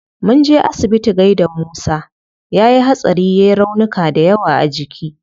Munje asibiti gaida musa, yayi hatsari yai raunuka dayawa a jiki